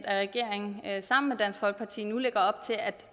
at regeringen sammen med dansk folkeparti nu lægger op til at